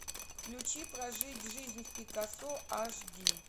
включи прожить жизнь с пикассо аш ди